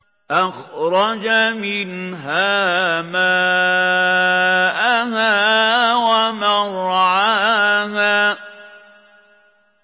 أَخْرَجَ مِنْهَا مَاءَهَا وَمَرْعَاهَا